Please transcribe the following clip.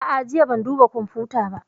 A'a, jiya ban duba kwamfuta ba